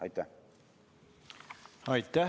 Aitäh!